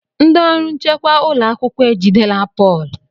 Ndị ọrụ nchekwa ụlọ akwụkwọ ejidela Pọl?